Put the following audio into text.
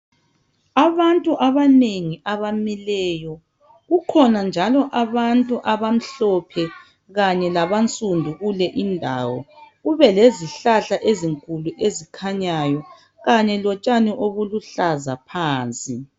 Abantu abanengi abamileyo. Kukhona njalo abantu abamhlophe kanye labansundu kule indawo. Kube izihlahla ezinkulu ezikhanyayo kanye lotshani obuluhlaza phansi.